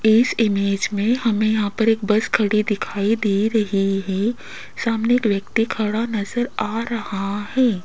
इस इमेज में हमे यहां पर एक बस खड़ी दिखाई दे रही हैं सामने एक व्यक्ती खड़ा नजर आ रहा हैं।